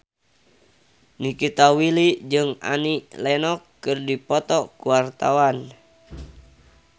Nikita Willy jeung Annie Lenox keur dipoto ku wartawan